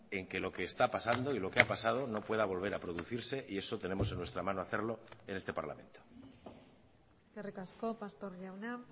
en que lo que está pasando y lo que ha pasado no pueda volver a producirse y eso tenemos en nuestra mano hacerlo en este parlamento eskerrik asko pastor jauna